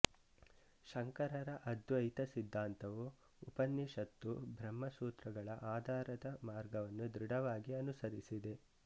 ಶಂಕರರ ಅದ್ವೈತ ಸಿದ್ಧಾಂತವು ಉಪನಿಷತ್ತು ಬ್ರಹ್ಮ ಸೂತ್ರಗಳ ಆಧಾರ ಮಾರ್ಗವನ್ನು ಧೃಢವಾಗಿ ಅನುಸರಿಸಿದೆ